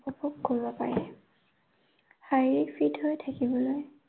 উপভোগ কৰিব পাৰে। শাৰীৰিক ঠিক হৈ থাকিবলৈ